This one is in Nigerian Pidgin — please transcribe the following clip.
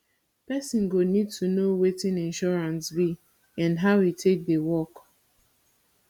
person go need to know wetin insurance be and how e take dey work